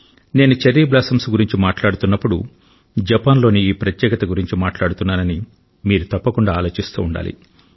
నేను cherry blossoms గురించి మాట్లాడుతున్నప్పుడు జపాన్ లోని ఈ ప్రత్యేకత గురించి మాట్లాడుతున్నానని మీరు తప్పకుండా ఆలోచిస్తూ ఉండాలి